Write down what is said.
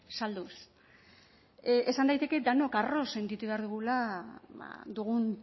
salduz esan daiteke denok arro sentitu behar dugula dugun